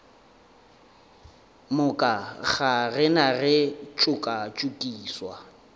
moka ga rena re tšokatšokišwa